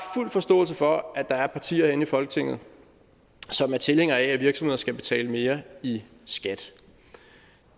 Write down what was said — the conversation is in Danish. fuld forståelse for at der er partier inde i folketinget som er tilhængere af at virksomheder skal betale mere i skat